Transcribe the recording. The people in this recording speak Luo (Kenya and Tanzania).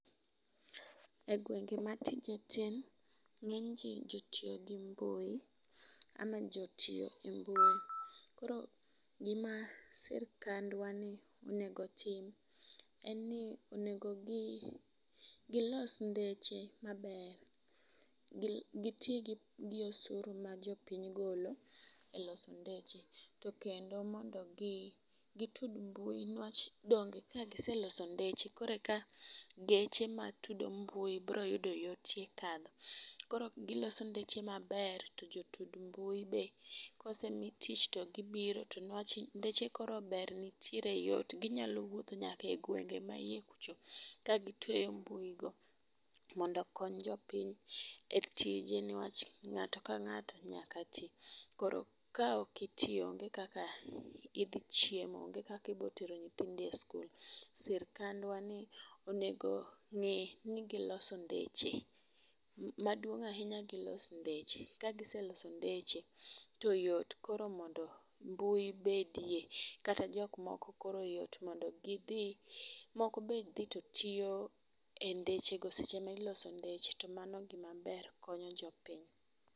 E gwenge ma tije tin, ng'eny jii jotiyo gi mbui ama jotiyo e mbui. Koro gima sirikandwa ni onego otim en ni, onego gi gilos ndeche maber .Gi giti gi osuru ma jopiny golo e loso ndeche to kendo mondo mi gitud mbui niwach donge ka giseloso ndeche koreka geche matudo mbui biro yudo yot e kadho. Koro giloso ndeche maber to jotud mbui be kosemii tich to gibiro to newach ndeche koro ber nitie yot ,ginyalo wuotho nyaka e gwenge ma yie kucho ka gitweyo mbui go mondo okony jopiny e tije newach ng'ato ka ng'ato nyaka tii. Koro ka ok itii onge kaka idhi chiemo onge kaka idhi tero nyithindo e sikul sirikndwar ni onego ng'i ni giloso ndeche. Maduong ahinya gilos ndeche ka giseloso ndeche to yot korr mondo mbui bedie kata jok moko koro yot mondo gidhi moko be dhi to tiyo e ndeche go seche miloso ndeche, to mano gima ber konyo jopiny.